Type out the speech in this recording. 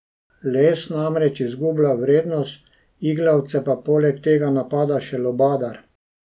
Les namreč izgublja vrednost, iglavce pa poleg tega napada še lubadar.